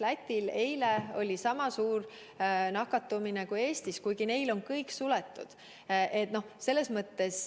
Lätil oli eile sama suur nakatumine kui Eestis, kuigi neil on kõik suletud.